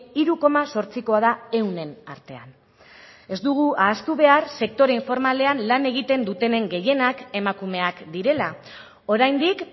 hiru koma zortzikoa da ehunen artean ez dugu ahaztu behar sektore informalean lan egiten dutenen gehienak emakumeak direla oraindik